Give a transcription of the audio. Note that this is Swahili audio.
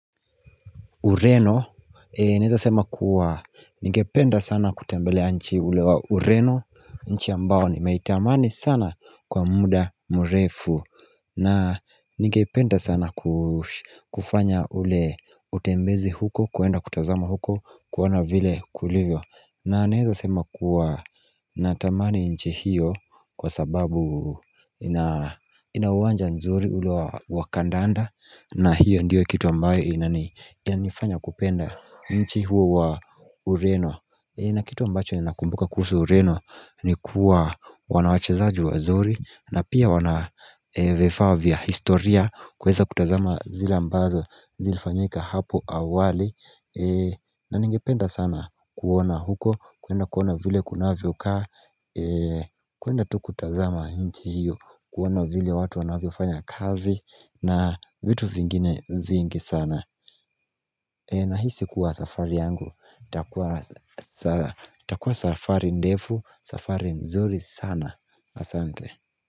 Ureno, naeza sema kuwa, ningependa sana kutembelea nchi ule wa Ureno, nchi ambao nimeitamani sana kwa muda mrefu. Na ningependa sana kufanya ule utembezi huko, kuenda kutazama huko, kuona vile kulivyo na naeza sema kuwa natamani nchi hiyo kwa sababu ina uwanja nzuri ule wa kandanda, na hiyo ndiyo kitu ambayo inanifanya kupenda nchi huo wa Ureno. Na kitu ambacho ninakumbuka kuhusu Ureno ni kuwa wana wachezaji wazuri na pia wana vifaa vya historia kuweza kutazama zile ambazo zilifanyika hapo awali na ningipenda sana kuona huko kuenda kuona vile kunavyokaa kuenda tu kutazama nchi hiyo kuona vile watu wanavyofanya kazi na vitu vingine vingi sana. Nahisi kuwa safari yangu, itakuwa safari ndefu, safari nzuri sana, asante.